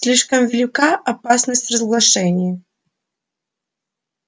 слишком велика опасность разглашения